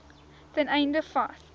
ten einde vas